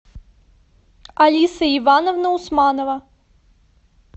алиса ивановна усманова